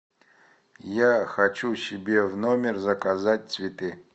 я хочу себе в номер заказать цветы